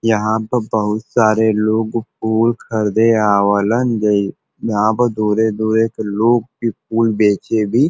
यहाँ पर बहुत सारे लोग फूल खरदे आवेलन। यहाँ पे दूर-दूर के लोग के फूल बेचे भी --